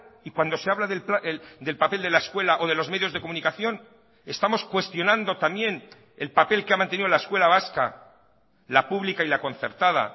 y cuando se habla del papel de la escuela o de los medios de comunicación estamos cuestionando también el papel que ha mantenido la escuela vasca la pública y la concertada